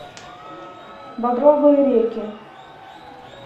багровые реки